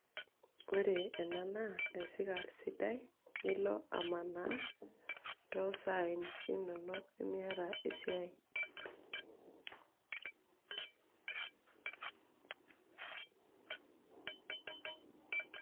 ore ena naa esikar sidai, tenilo amanaa too saai inonok, tenemiata esiai.